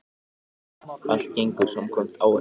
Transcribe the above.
Allt gengur samkvæmt áætlun